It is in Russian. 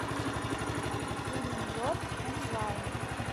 фильм лед онлайн